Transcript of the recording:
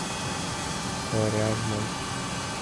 коряжмой